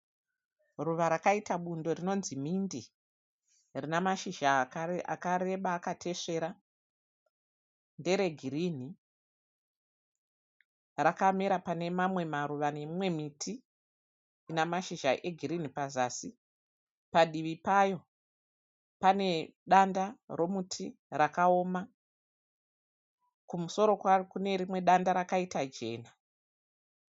Ruva rakaita bundo rinonzi mhinde. Rinamashizha akareba akatesvera, nderegirinhi. Rakamera panemamwe maruva nemimwe muti inamashizha egirinhi pazasi. Padivi payo pane danda romuti rakaoma, kumusoro kwaro kunerimwe danda rakaita jena.